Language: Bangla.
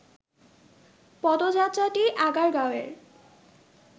পদযাত্রাটি আগারগাঁওয়ের